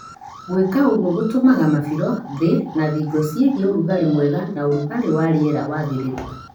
Gwĩka ũgũo gũtũmaga mabĩro, thĩ na thingo cigĩĩ ũrugalĩ mwega na ũrugalĩ wa rĩera wagĩrĩre